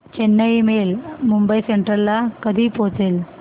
Chennai mail Mumbai central ला कधी पोहचेल